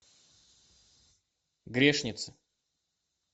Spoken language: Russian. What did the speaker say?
грешница